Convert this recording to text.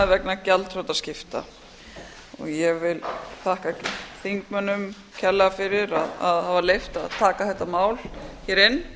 vegna gjaldþrotaskipta ég vil þakka þingmönnum kærlega fyrir að hafa leyft að taka þetta mál hér inn